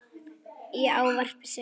Í ávarpi sem